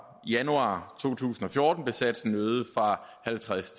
januar to tusind og fjorten blev satsen øget fra halvtreds